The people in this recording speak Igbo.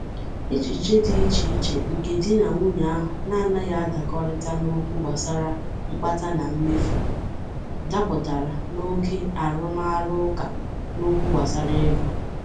echiche dị ichè iche nke di na nwunye ahụ na-anghi adakorita n'okwu gbasara mkpata na mmefu dapụtara na oke arumaruuka n'okwu gbasara ego.